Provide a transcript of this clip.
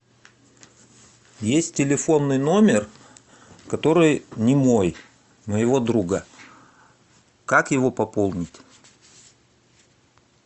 есть телефонный номер который не мой моего друга как его пополнить